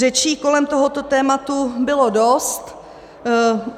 Řečí kolem tohoto tématu bylo dost.